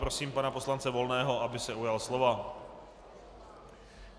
Prosím pana poslance Volného, aby se ujal slova.